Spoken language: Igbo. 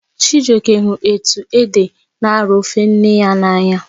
Chijioke hụrụ etu ede n'arọ ofe nne ya n'anya